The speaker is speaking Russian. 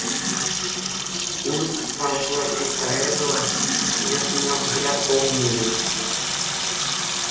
улыбка сползла с лица реддла её сменил взгляд полный ненависти